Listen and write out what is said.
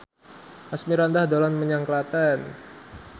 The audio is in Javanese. Asmirandah dolan menyang Klaten